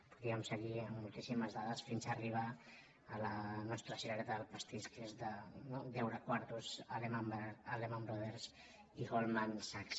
podríem seguir amb moltíssimes dades fins a arribar a la nostra cirereta del pastís que és deure quartos a lehman brothers i goldman sachs